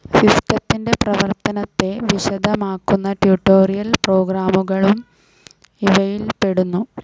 സിസ്റ്റത്തിന്റെ പ്രവർത്തനത്തെ വിശദമാക്കുന്ന ട്യൂട്ടോറിയൽ പ്രോഗ്രാമുകളും ഇവയിൽപ്പെടുന്നു.